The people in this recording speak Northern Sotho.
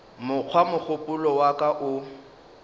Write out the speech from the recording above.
mokgwa mogopolo wa ka o